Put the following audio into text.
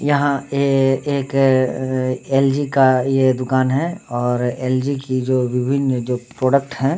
यहाँ ए एक एल.जी का यह दुकान है और एल.जी कि विभिन्न प्रोडक्ट हैं।